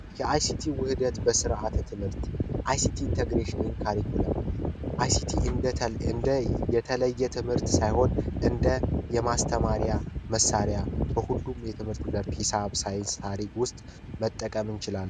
የአይሲቲ ውህደት በስርዓተ ትምህርት አይሲቲ ኢንተግሬሽን ወይም ካሪክለም አይሲቲ የተለየ ትምህርት ሳይሆን እንደ ማስተማሪያ መሳሪያ በሁሉም የትምህርት ዘርፍ ሒሳብ ሳይንስ ታሪክ ውስጥ መጠቀም እንችላለን።